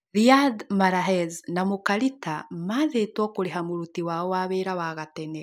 Riyard Mahlez na mũka Rita maathĩtũo kũrĩha mũruti wao wa wĩra wa gatene